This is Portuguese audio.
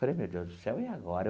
Falei, meu Deus do céu, e agora?